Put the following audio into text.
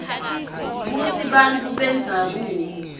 kutsi bantfu bendzabuko